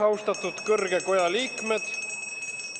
Austatud kõrge koja liikmed!